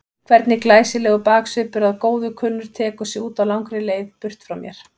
Hvernig glæsilegur baksvipur að góðu kunnur tekur sig út á langri leið burt frá mér.